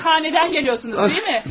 Meyhanədən gəliyorsunuz, deyil mi?